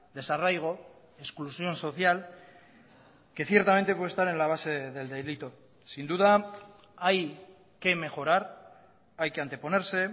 desarraigo exclusión social que ciertamente puede estar en la base del delito sin duda hay que mejorar hay que anteponerse